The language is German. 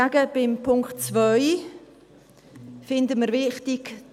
Beim Punkt 2 hingegen finden wir es wichtig …